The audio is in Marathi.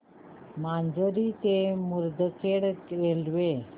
माजरी ते मुदखेड रेल्वे